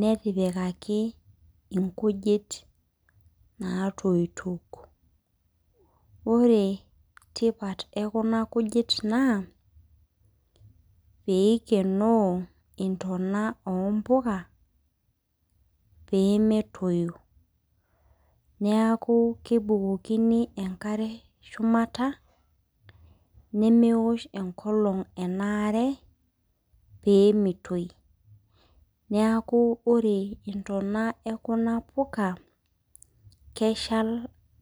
netipikaki nkujit natoito ore tipita ekuna kujit naa pikenoo nyonot ekuna pika pee metii neeku kebukokini enkare shumata nemeosh enkolog enare pemitoi neeku ore ntoona ekuna puka keshal